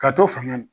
Ka to fanga na